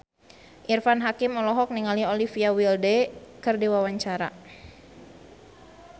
Irfan Hakim olohok ningali Olivia Wilde keur diwawancara